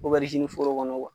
foro kɔnɔ